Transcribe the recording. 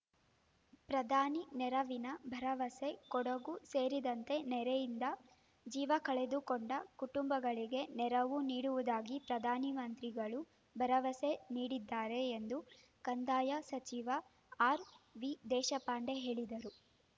ಪ್ರಧಾನಿ ನೆರವಿನ ಭರವಸೆ ಕೊಡಗು ಸೇರಿದಂತೆ ನೆರೆಯಿಂದ ಜೀವ ಕಳೆದುಕೊಂಡ ಕುಟುಂಬಗಳಿಗೆ ನೆರವು ನೀಡುವುದಾಗಿ ಪ್ರಧಾನಮಂತ್ರಿಗಳು ಭರವಸೆ ನೀಡಿದ್ದಾರೆ ಎಂದು ಕಂದಾಯ ಸಚಿವ ಆರ್‌ವಿದೇಶಪಾಂಡೆ ಹೇಳಿದರು